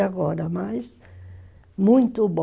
agora, mas, muito bom